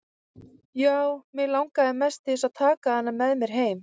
Já, mig langaði mest til að taka hana með mér heim.